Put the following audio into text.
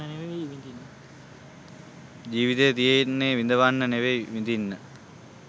ජීවිතය තියෙන්නෙ විඳවන්න නෙමෙයි විඳින්න.